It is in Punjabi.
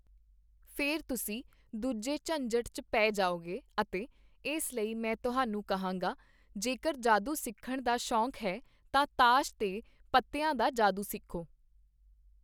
ਫਿਰ ਤੁਸੀਂ ਦੂਜੇ ਝੰਜਟ ਚ ਪੇ ਜਾਓਗੇ ਅਤੇ ਇਸ ਲਈ ਮੈਂ ਤੁਹਾਨੂੰ ਕਹਾਂਗਾ, ਜੇਕਰ ਜਾਦੂ ਸਿੱਖਣ ਦਾ ਸ਼ੋਕ ਹੈ ਤਾਂ ਤਾਸ਼ ਦੇ ਪੱਤਿਆਂ ਦਾ ਜਾਦੂ ਸਿੱਖੋ।